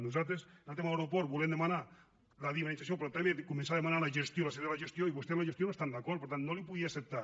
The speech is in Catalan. nosaltres en el tema de l’aeroport volem demanar la dinamització però també començar a demanar la gestió la cessió de la gestió i vostès amb la gestió no hi estan d’acord per tant no li ho podia acceptar